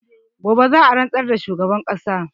Gobe za'a rantsar da shugaban ƙasa